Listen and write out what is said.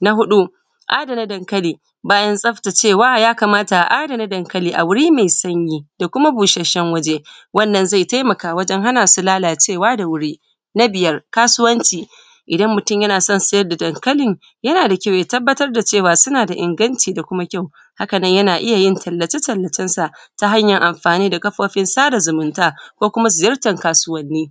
na hudu adana dankali bayan tsaftacewa yakamata a’adana dankali a wurine me sanyi ku busashshen wuri wannan zai taimaka wajen hana su lalacewa da wuri na biyar kasuwanci idan mutum yana son sa'ida dankali yana da kyau ya tabatar da cewa yana da inganci da kuma kyau hakan nan yana iyayin talacetalacensu ta hanyanyin yin anfani da kafofin sada zumunta ko kuma ziyartan kasuwanni